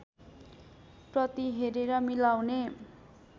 प्रति हेरेर मिलाउने